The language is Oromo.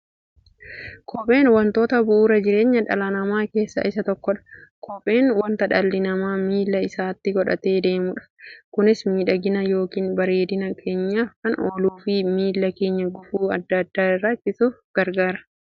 Kopheen wantoota bu'uura jireenya dhala namaa keessaa isa tokkodha. Kopheen wanta dhalli namaa miilla isaatti godhatee deemudha. Kunis miidhagina yookiin bareedina keenyaf kan ooluufi miilla keenya gufuu adda addaa irraa ittisuuf gargaara.